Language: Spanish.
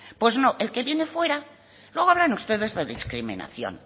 pues no el que viene de fuera luego hablan ustedes de discriminación